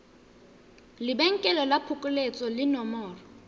lebenkele la phokoletso le nomoro